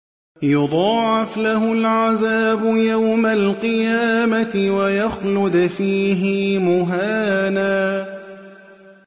يُضَاعَفْ لَهُ الْعَذَابُ يَوْمَ الْقِيَامَةِ وَيَخْلُدْ فِيهِ مُهَانًا